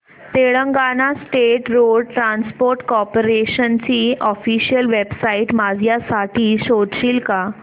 Telangana state road transport corporation ची official website माझ्यासाठी शोधशील का